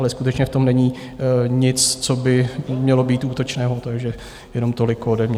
Ale skutečně v tom není nic, co by mělo být útočného, takže jenom toliko ode mě.